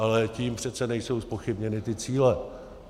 Ale tím přece nejsou zpochybněny ty cíle.